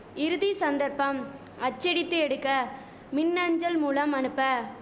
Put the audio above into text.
இறுதி சந்தர்ப்பம் அச்சடித்து எடுக்க மின்அஞ்சல் மூலம் அனுப்ப